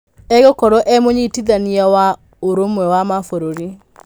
Egũkorwo e mũnyitithania wa ũrũmwe wa mabũrũrĩ.